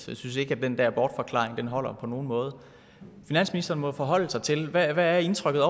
jeg synes ikke at den der bortforklaring holder på nogen måde finansministeren må jo forholde sig til hvad er indtrykket